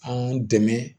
Anw dɛmɛ